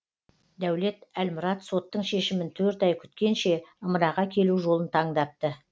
дәулет әлмұрат соттың шешімін төрт ай күткенше ымыраға келу жолын таңдапты